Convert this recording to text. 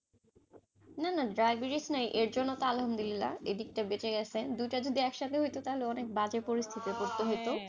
না না diabetes নাই এর জন্য তো আলহমদুল্লা, এদিকটা বেচে গেছেন, দুইটা যদি একসাথে হইত, তাহলে অনেক বাজে পরিস্থিতি হইত,